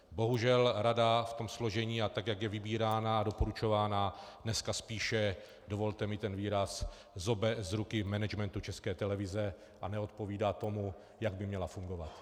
Bohužel rada v tom složení a tak, jak je vybírána a doporučována, dneska spíše, dovolte mi ten výraz, zobe z ruky managementu České televize a neodpovídá tomu, jak by měla fungovat.